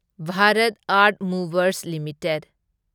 Bharat earth movers limited